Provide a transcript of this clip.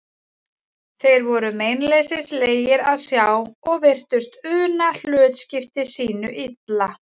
Þeir voru meinleysislegir að sjá og virtust una hlutskipti sínu illa.